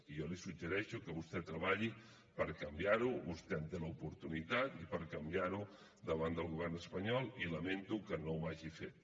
i jo li suggereixo que vostè treballi per canviar ho vostè en té l’oportunitat i per canviar ho davant del govern espanyol i lamento que no ho hagi fet